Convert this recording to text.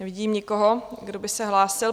Nevidím nikoho, kdo by se hlásil.